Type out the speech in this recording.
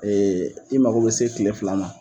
Ee i mago bɛ se tile fila ma